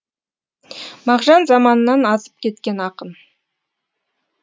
мағжан заманынан азып кеткен ақын